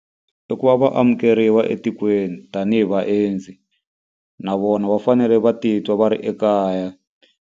I ku va va amukeriwa etikweni tanihi vaendzi, na vona va fanele va titwa va ri ekaya.